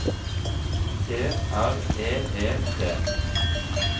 T R E E T